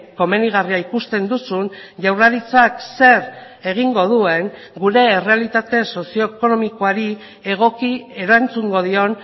komenigarria ikusten duzun jaurlaritzak zer egingo duen gure errealitate sozioekonomikoari egoki erantzungo dion